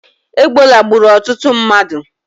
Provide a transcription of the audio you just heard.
Egbola gburu ututu mmadu